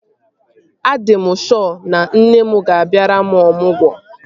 A dị m shọ na nne m ga-abịara m ọmụgwọ